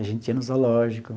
A gente ia no zoológico.